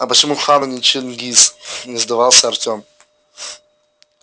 а почему хан а не чингиз не сдавался артём